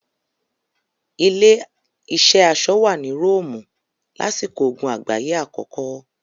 Ilé-iṣẹ́ aṣọ wà ní Róòmù lásìkò ogun àgbáyé àkọ́kọ́.